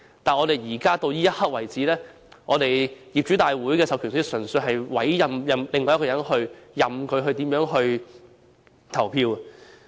但目前為止，業主大會的授權書純粹是委任其他人士，任由他們怎樣投票也可。